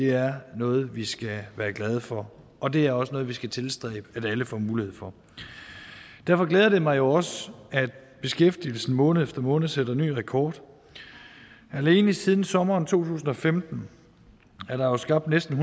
er noget vi skal være glade for og det er også noget vi skal tilstræbe at alle får mulighed for derfor glæder det mig jo også at beskæftigelsen måned efter måned sætter ny rekord alene siden sommeren to tusind og femten er der jo skabt næsten